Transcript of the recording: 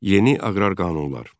Yeni aqrar qanunlar.